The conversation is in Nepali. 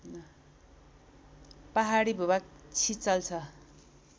पहाडी भूभाग छिचल्छ